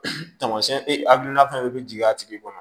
Tamasiyɛn hakilina fɛn fɛn bɛ jigin a tigi kɔnɔ